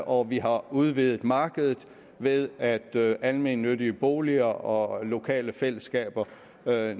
og vi har udvidet markedet ved at almennyttige boliger og lokale fællesskaber